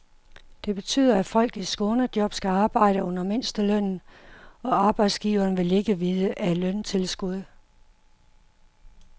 Det betyder, at folk i skånejob skal arbejde under mindstelønnen, og arbejdsgiverne vil ikke vide af løntilskud.